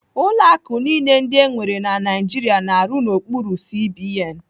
Ụlọ akụ niile ndị enwere na Naijiria na-arụ n'okpuru CBN.